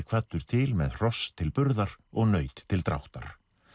kvaddur til með hross til burðar og naut til dráttar